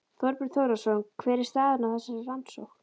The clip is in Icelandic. Þorbjörn Þórðarson: Hver er staðan á þessari rannsókn?